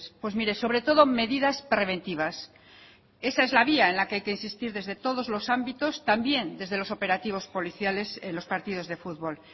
pues mire sobre todo medidas preventivas esa es la vía en la que hay que insistir desde todos los ámbitos también desde los operativos policiales en los partidos de fútbol